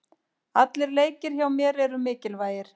Allir leikir hjá mér eru mikilvægir.